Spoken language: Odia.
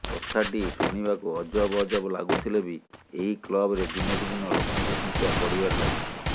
କଥାଟି ଶୁଣିବାକୁ ଅଜବ ଅଜବ ଲାଗୁଥିଲେ ବି ଏହି କ୍ଲବରେ ଦିନକୁ ଦିନ ଲୋକଙ୍କ ସଂଖ୍ୟା ବଢ଼ିବାରେ ଲାଗିଛି